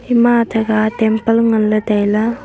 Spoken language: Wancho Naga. ema athakha temple ngan ley tai ley.